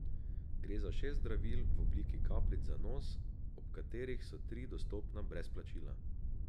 Gre za šest zdravil v obliki kapljic za nos, od katerih so tri dostopna brez doplačila.